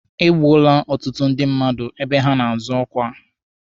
E gbuole ọtụtụ ndị mmadụ ebe ha na-azọ ọkwa.